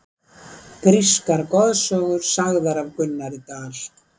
Grískar goðsögur sagðar af Gunnari Dal.